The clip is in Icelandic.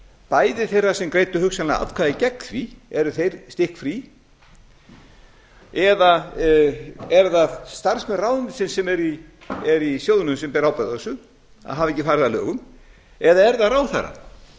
bæði þeirra sem greiddu hugsanlega atkvæði gegn því eru þeir stikkfrí eða eru það starfsmenn ráðuneytisins sem eru í sjóðnum sem bera ábyrgð á þessu að hafa ekki farið að lögum eða er það ráðherrann